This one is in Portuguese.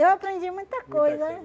Eu aprendi muita coisa.